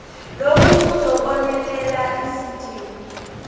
lokhu kuzobonelela izidingo